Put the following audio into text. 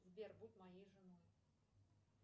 сбер будь моей женой